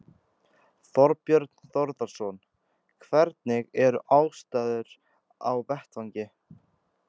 Þorbjörn Þórðarson: Hvernig eru aðstæður á vettvangi?